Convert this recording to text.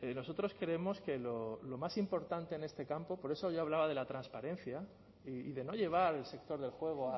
nosotros creemos que lo más importante en este campo por eso yo hablaba de la transparencia y de no llevar el sector del juego